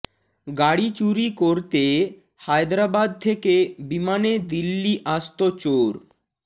গাড়ি চুরি করতে হায়দরাবাদ থেকে বিমানে দিল্লি আসত চোর